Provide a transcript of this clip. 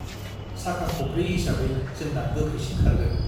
साका खबब्रै हिसाबै जोंना गोख्रैसिन खारगोन ।